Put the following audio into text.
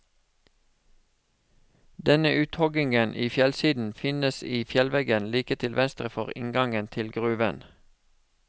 Denne uthoggingen i fjellsiden finnes i fjellveggen like til venstre for inngangen til gruven.